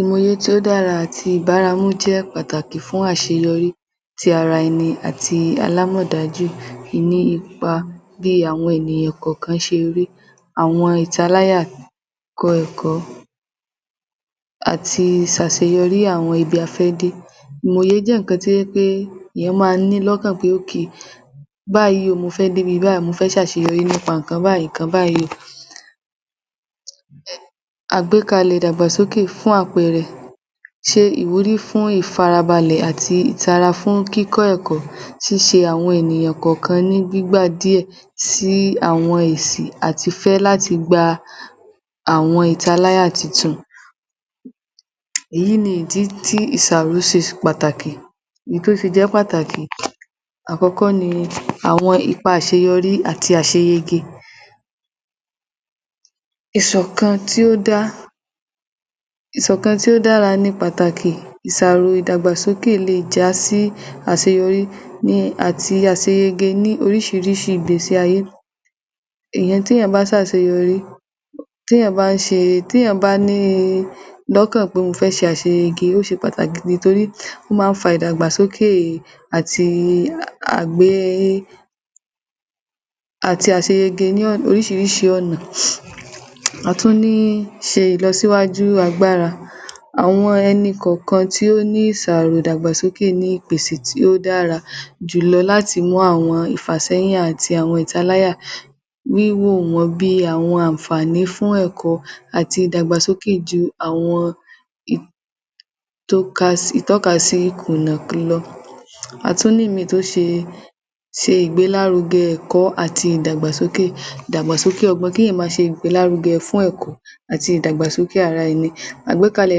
Ìmọ̀ òye tí ó dára àti ìbáramú jẹ́ pàtàkì tí ó dára fún àṣeyọrí ti ara ẹni àti alámọ̀dájù nípa bí àwọn ènìyàn kọ̀ọ̀kan ṣe rí, àwọn ìtaláyà kọ ẹ̀kọ́ àti ṣàṣeyọrí àwọn ibi ta fẹ́ dé. Ìmọ̀ òye jẹ́ nǹkan tó jẹ́ wí pé èèyàn máa ni lọ́kàn pé okay báyìí o mo fẹ́ dé ibi báìí mo fẹ́ ṣàṣeyọrí nípa nǹkan báìí nǹkan báìí àgbékalẹ̀ ìdàgbàsókè fún àpẹẹrẹ, ṣe ìwúrí fún ìfarabalẹ̀ àti ìtara fún kíkọ́ ẹ̀kọ́, ṣíṣe àwọn ènìyàn kọ̀ọ̀kan ní gbígbá díẹ̀ sí àwọn èsì àtifẹ́ láti gba àwọn ìtaláyà tuntun. Èyí ni ìdí tí ìṣàróṣe ṣe pàtàkì, n tó fi jẹ́ pàtàkì àkọ́kọ́ ni, àwọn ipa àṣeyọrí àti àṣeyege ìṣọ̀kan tí ó dá, ìṣọ̀kan tí ó dára ni pàtàkì ìsàrò ìdàgbàsókè le è jásí àṣeyọrí àti ni àṣeyege ní oríṣìíríṣìí ìgbésí ayé ìyẹn téèyàn bá ṣàṣeyọrí téèyàn bá ṣe téèyàn bá ní lọ́kàn pé mo fẹ́ ṣe àṣeyege ó ṣe pàtàkì nítorí ó máa ń fa ìdàgbàsókè e e e àti à gbé àti àṣeyege ní oríṣìíríṣìí ọ̀nà,a tún ní ṣe ìlọsíwájú agbára, àwọn ẹni kọ̀ọ̀kan tí ó ní ìsàrò ìdàgbàsókè tí ó ní ìpèsè tí ó dára jù lọ láti mú àwọn ìfàṣéyìn àti ìtaláyà wíwò wọ́n bí i àwọn àǹfààní fún ẹ̀kọ́ àti ìdàgbàsókè ju àwọn i ìtọ́kasí ìkùnà lọ, a tún ní míì tó ṣe ìgbélárugẹ ẹ̀kọ́ àti ìdàgbàsókè ìdàgbàsókè ọgbọ́n, kí èèyàn máa ṣe ìgbélárugẹ fún ẹ̀kọ́ àti ìdàgbàsókè ara ẹni, àgbékalẹ̀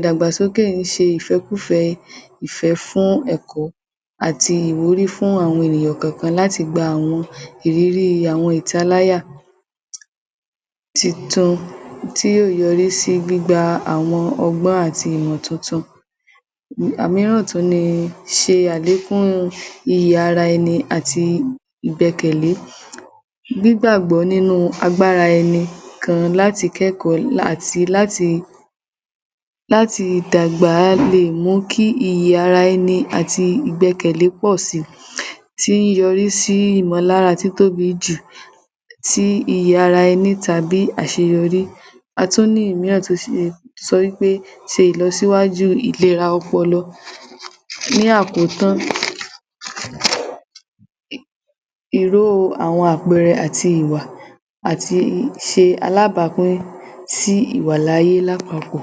ìdàgbàsókè ń ṣe ìfẹ́kùfẹ́ Ìfẹ́ fún ẹ̀kọ́ àti ìwúrí fún àwọn ènìyàn kọ̀ọ̀kan láti gba àwọn ìrírí àwọn ìtaláyà tuntun tí yóò yọrí sí gbígba àwọn ọgbọ́n àti ìmọ̀ tuntun. Òmíràn tún ni, ṣe àlékún iye ara ẹni àti ìgbẹkẹ̀lé, gbígbàgbọ́ nínú agbára ẹni kan láti kẹ́kọ̀ọ́ àti láti dàgbà le è mú kí iyì ara ẹni àti ìgbẹkẹ̀lé pọ̀ si tí í yọrí sí ìmọ̀lára títóbi jù tí iyì ara ẹni tàbí àṣeyọrí, a tún ní òmíràn tó sì lè sọ wí pé ṣe ìlọsíwájú ìlera ọpọlọ. Ní àkótán, ìró o àwọn àpẹẹrẹ àti ìwà àti i ṣe alábàápín sí ìwàláyé lápapọ̀.